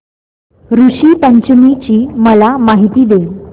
ऋषी पंचमी ची मला माहिती दे